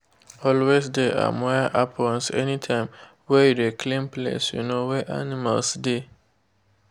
always de um wear aprons anytime wey you de clean place um wey animal de.